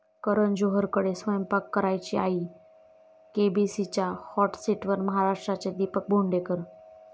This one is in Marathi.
करण जोहरकडे स्वयंपाक करायची आई, केबीसीच्या हाॅट सीटवर महाराष्ट्राचे दीपक भोंडेकर